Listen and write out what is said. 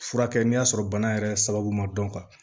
Furakɛ n'i y'a sɔrɔ bana yɛrɛ sababu ma dɔn ka ban